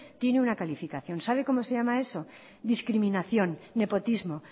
tiene una calificación sabe cómo se llama eso discriminación nepotismo